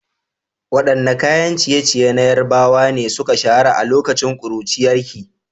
Waɗanne kayan ciye-ciye na Yarbawa ne suka shahara a lokacin ƙuruciyarki?